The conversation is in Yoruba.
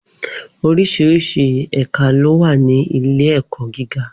Oríṣiríṣi ẹ̀ka ló wà ní ilé-ẹ̀kọ́ gíga.